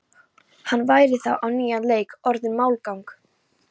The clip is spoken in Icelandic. Hann væri þá á nýjan leik orðinn málgagn.